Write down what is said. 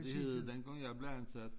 Det hed det dengang jeg blev ansat